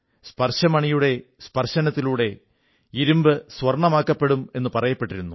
സ്പർശമണിയുടെ സ്പർശനത്തിലൂടെ ഇരുമ്പ് സ്വർണ്ണമാകുമെന്നു പറയപ്പെട്ടിരുന്നു